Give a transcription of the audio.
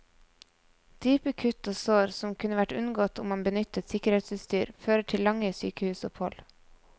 Dype kutt og sår, som kunne vært unngått om man benyttet sikkerhetsutstyr, fører til lange sykehusopphold.